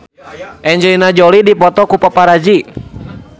Angelina Jolie dipoto ku paparazi